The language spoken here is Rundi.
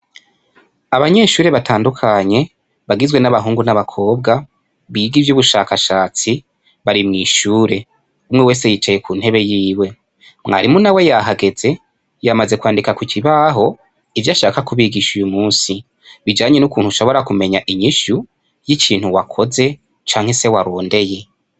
Abanyeshuri batandukanye bagizwe n'abahungu n'abakobwa biga ivy'ubushakashatsi, bari mwishure umwe wese yicaye kuntebe yiwe, mwarimu nawe yahageze yamaze kwandika kukibaho ivy'ashaka kubigisha uyumusi bijanye n'ukuntu ushobora kumenya inyishu, y'ikintu wakoze canke se warondeye.